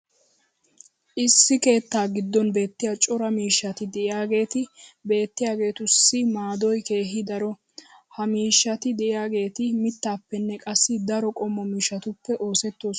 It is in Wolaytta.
issi keettaa giddon beettiya cora miishshati diyaageeti beettiyaageetussi maaddoy keehi daro. ha miishshati diyaageeti mitaappene qassi daro qommo miishshatuppe oosetoosona.